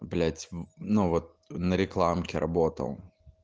блять ну вот на рекламке работал